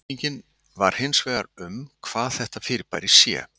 Spurningin var hins vegar um hvað þetta fyrirbæri sé.